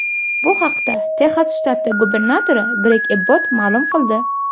Bu haqda Texas shtati gubernatori Greg Ebbot ma’lum qildi .